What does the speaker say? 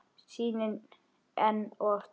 Sýnin enn og aftur.